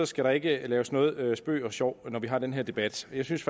skal der ikke laves noget spøg og sjov når vi har denne debat jeg synes